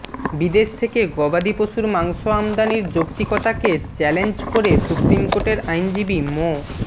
বিদেশ থেকে গবাদিপশুর মাংস আমদানির যৌক্তিকতাকে চ্যালেঞ্জ করে সুপ্রিম কোর্টের আইনজীবী মো